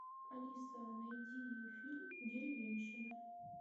алиса найди фильм деревенщина